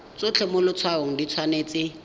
tsotlhe mo letshwaong di tshwanetse